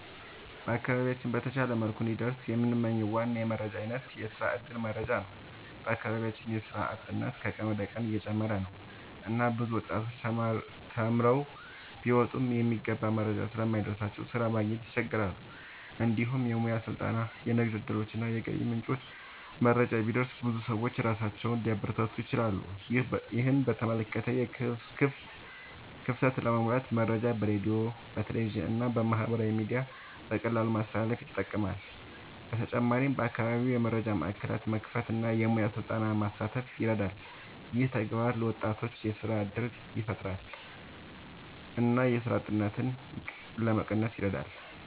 በአካባቢያችን በተሻለ መልኩ እንዲደርስ የምንመኝው ዋና የመረጃ አይነት የስራ እድል መረጃ ነው። በአካባቢያችን የስራ አጥነት ከቀን ወደ ቀን እየጨመረ ነው እና ብዙ ወጣቶች ተማርተው ቢወጡም የሚገባ መረጃ ስለማይደርስላቸው ስራ ማግኘት ይቸገራሉ። እንዲሁም የሙያ ስልጠና፣ የንግድ እድሎች እና የገቢ ምንጮች መረጃ ቢደርስ ብዙ ሰዎች ራሳቸውን ሊያበረታቱ ይችላሉ። ይህን የመረጃ ክፍተት ለመሙላት መረጃ በሬዲዮ፣ በቴሌቪዥን እና በማህበራዊ ሚዲያ በቀላሉ ማስተላለፍ ይጠቅማል። በተጨማሪም በአካባቢ የመረጃ ማዕከላት መክፈት እና የሙያ ስልጠና ማስፋት ይረዳል። ይህ ተግባር ለወጣቶች የስራ እድል ያፈጥራል እና የስራ አጥነትን ለመቀነስ ይረዳል።